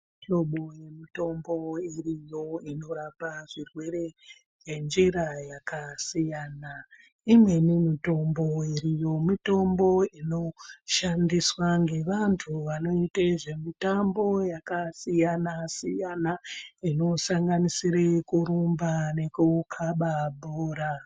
Mihlobo yemitombo iriyo inorape zvirwere ngenjira dzakasiyana. Imweni mitombo iriyo inoshandiswe ngevanhu vanoite zvemitambo yakasiyana siyana inosanganisira kurumba nekukabe bhora.